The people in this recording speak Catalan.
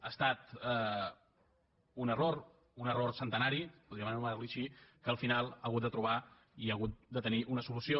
ha estat un error un error centenari podríem anomenar lo així que al final ha hagut de trobar i ha hagut de tenir una solució